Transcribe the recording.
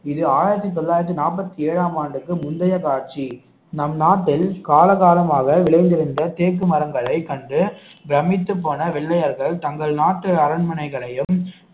இது ஆயிரத்தி தொள்ளாயிரத்தி நாற்பத்தி ஏழாம் ஆண்டுக்கு முந்தைய காட்சி நம் நாட்டில் கால காலமாக விளைந்திருந்த தேக்கு மரங்களை கண்டு பிரம்மித்து போன வெள்ளையர்கள் தங்கள் நாட்டு அரண்மனைகளையும்